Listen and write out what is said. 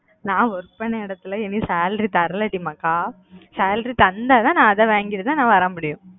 நான் work பண்ண எடத்துல இன்னும் salary தரல டி மக்கா salary தந்தா தான் நான் அதா வாங்கிட்டு தான் வர முடியும்